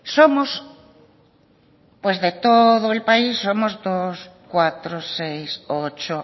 de todo el país